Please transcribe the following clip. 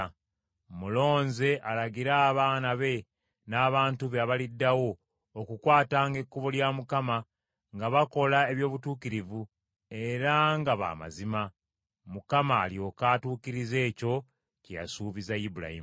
Mmulonze alagire abaana be n’abantu be abaliddawo okukwatanga ekkubo lya Mukama nga bakola eby’obutuukirivu era nga ba mazima, Mukama alyoke atuukirize ekyo kye yasuubiza Ibulayimu.”